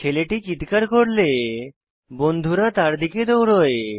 ছেলেটি চিত্কার করলে বন্ধুরা তার দিকে দৌড়োয়